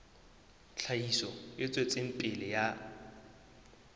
tlhahiso e tswetseng pele ya